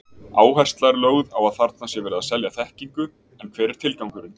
Áhersla er lögð á að þarna sé verið að selja þekkingu, en hver er tilgangurinn?